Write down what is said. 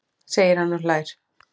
segir hann og hlær.